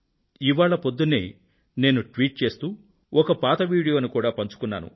ఇవాళ పొద్దున్నే నేను ట్వీట్ చేస్తూ ఒక పాత వీడియోను కూడా పంచుకొన్నాను